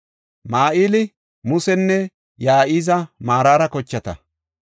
Mahili, Musinne Ya7izi Maraara kochata.